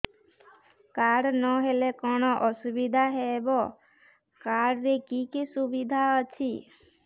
card ନହେଲେ କଣ ଅସୁବିଧା ହେବ କାର୍ଡ ରେ କି କି ସୁବିଧା ଅଛି